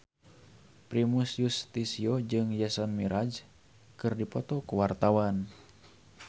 Primus Yustisio jeung Jason Mraz keur dipoto ku wartawan